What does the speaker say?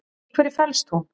Í hverju felst hún?